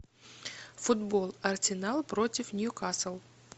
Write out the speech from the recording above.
футбол арсенал против ньюкасл